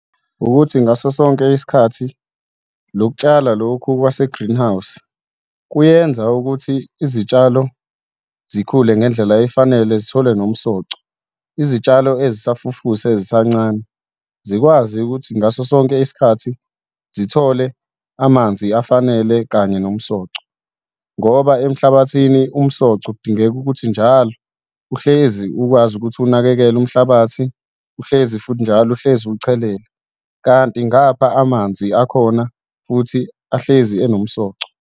Ukuthi ngaso sonke isikhathi, lokutshala lokhu kwase-greenhouse kuyenza ukuthi izitshalo zikhule ngendlela efanele, zithole nomsoco. Izitshalo ezisafufusa ezisancane zikwazi ukuthi ngaso sonke isikhathi zithole amanzi afanele kanye nomsoco. Ngoba emhlabathini, umsoco kudingeka ukuthi njalo uhlezi ukwazi ukuthi unakekele umhlabathi, uhlezi futhi njalo uhlezi uwuchelela, kanti ngapha amanzi akhona futhi ahlezi anomsoco.